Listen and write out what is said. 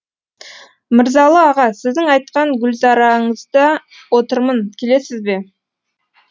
мырзалы аға сіздің айтқан гүлзарыңызда отырмын келесіз бе